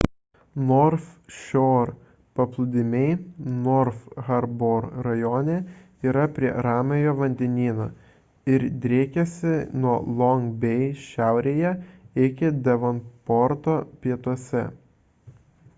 north shore paplūdimiai north harbour rajone yra prie ramiojo vandenyno ir driekiasi nuo long bay šiaurėje iki devonporto pietuose